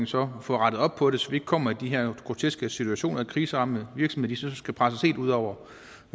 så får rettet op på det så vi ikke kommer i de her groteske situationer hvor kriseramte virksomheder skal presses helt ud over